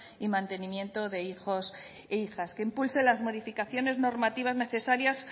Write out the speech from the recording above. y mantenimiento de hijos e hijas que impulse las modificaciones normativas necesarias